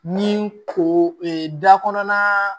Ni ko da kɔnɔna